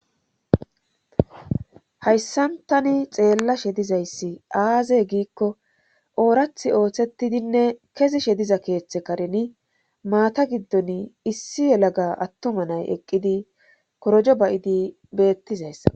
Hayssantani xeella she dizayssi aazey giikko oorath ooththetidinne kezi shediza keeththe karini maata giddon issi yelaga attuma nay eqqidi korojo bay'idi beettizayssa.